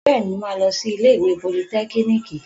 Bẹ́ẹ̀ni, mo máa lọ sí ilé ìwé politẹ́kíníìkì